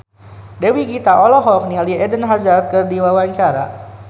Dewi Gita olohok ningali Eden Hazard keur diwawancara